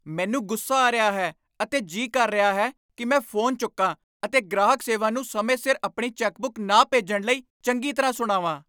ਮੈਨੂੰ ਗੁੱਸਾ ਆ ਰਿਹਾ ਹੈ ਅਤੇ ਜੀ ਕਰ ਰਿਹਾ ਹੈ ਕਿ ਮੈਂ ਫੋਨ ਚੁੱਕਾਂ ਅਤੇ ਗ੍ਰਾਹਕ ਸੇਵਾ ਨੂੰ ਸਮੇਂ ਸਿਰ ਆਪਣੀ ਚੈੱਕਬੁੱਕ ਨਾ ਭੇਜਣ ਲਈ ਚੰਗੀ ਤਰ੍ਹਾਂ ਸੁਣਾਵਾਂ।